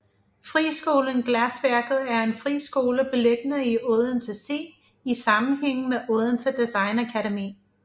Friskolen Glasværket er en friskole beliggende i Odense C i sammenhæng med Odense Designakademi